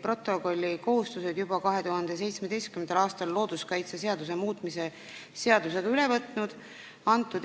protokolli kohustused juba 2017. aastal looduskaitseseaduse muutmise seadusega üle võtnud.